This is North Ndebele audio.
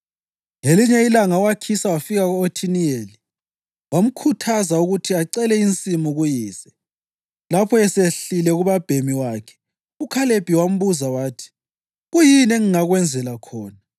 Ngelinye ilanga u-Akhisa wafika ku-Othiniyeli wamkhuthaza ukuthi acele insimu kuyise. Lapho esehlile kubabhemi wakhe, uKhalebi wambuza wathi, “Kuyini engingakwenzela khona?”